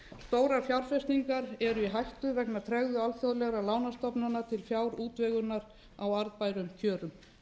stórar fjárfestingar eru í hættu vegna tregðu alþjóðlegra lánastofnana til fjárútvegunar á arðbærum kjörum